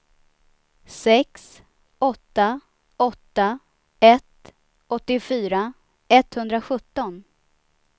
sex åtta åtta ett åttiofyra etthundrasjutton